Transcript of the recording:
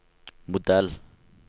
modell